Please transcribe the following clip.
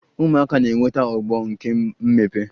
Ụmụaka na-enweta ogbo nke mmepe